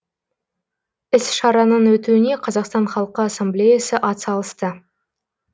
іс шараның өтуіне қазақстан халқы ассамблеясы атсалысты